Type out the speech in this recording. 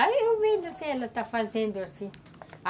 Aí eu vendo, assim, ela está fazendo assim.